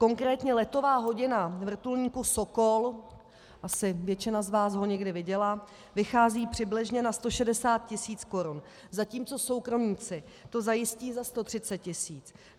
Konkrétně letová hodina vrtulníku Sokol, asi většina z vás ho někdy viděla, vychází přibližně na 160 tisíc korun, zatímco soukromníci to zajistí za 130 tisíc.